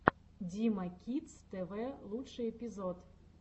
дима кидс тв лучший эпизод